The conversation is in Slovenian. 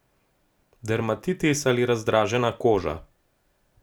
Dermatitis ali razdražena koža.